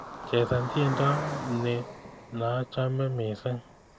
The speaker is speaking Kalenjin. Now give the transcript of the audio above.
Chesan tyendo ni naachame missing